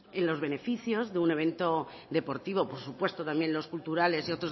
en los beneficios de un evento deportivo por supuesto también los culturales y